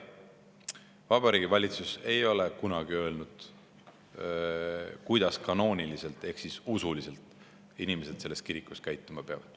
Vabariigi Valitsus ei ole kunagi öelnud, kuidas kanooniliselt ehk usuliselt inimesed selles kirikus käituma peavad.